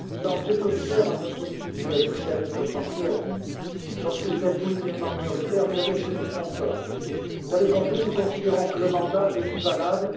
Monsieur le Président, Monsieur le Commissaire, un homme politique socialiste français a dit Lorsque vous êtes politiquement minoritaire, vous avez juridiquement tort. Vous avez compris que nous considérons que le mandat n'est plus valable.